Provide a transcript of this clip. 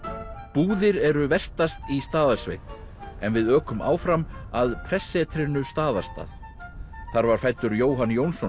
búðir eru vestast í Staðarsveit en við ökum áfram að prestssetrinu Staðarstað þar var fæddur Jóhann Jónsson